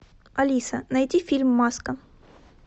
алиса найди фильм маска